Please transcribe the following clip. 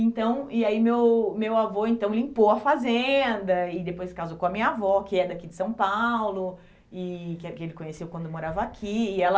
Então, e aí meu meu avô, então, limpou a fazenda, e depois casou com a minha avó, que é daqui de São Paulo, e que eh que ele conheceu quando morava aqui, e ela,